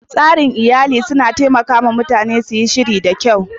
tsarin iyali yana taimaka wa mutane su yi shiri da kyau